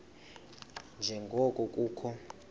nje ngoko kukho